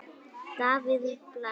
Davíð Bless.